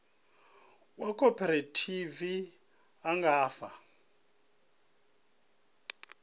wa khophorethivi a nga fha